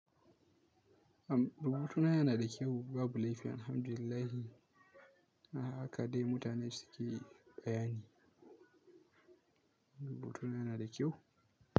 Rubutuna yana da kyau, babu laifi Alhamdulillah. Haka dai mutane suke bayani. Rubutuna yana da kyau?